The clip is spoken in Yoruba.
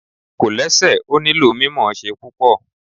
Kòlẹ́sẹ̀ ò nílò mímọ̀ọ́ṣé púpò